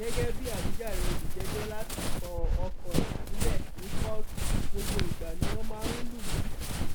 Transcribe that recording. gẹgẹ bíi àwíjàre olùjẹjọ láti kọ ọkọ ẹ sílẹ ní kóòtù gbogbo ìgbà ni wọn máa ń lù mí